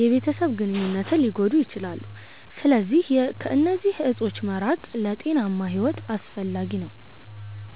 የቤተሰብ ግንኙነትን ሊጎዱ ይችላሉ። ስለዚህ ከእነዚህ እፆች መራቅ ለጤናማ ሕይወት አስፈላጊ ነው።